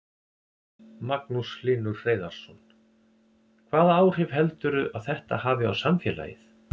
Magnús Hlynur Hreiðarsson: Hvaða áhrif heldurðu að þetta hafi á samfélagið?